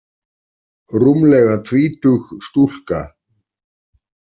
Rúmlega tvítug stúlka.